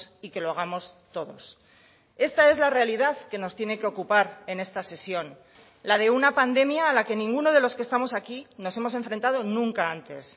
y que lo hagamos todos esta es la realidad que nos tiene que ocupar en esta sesión la de una pandemia a la que ninguno de los que estamos aquí nos hemos enfrentado nunca antes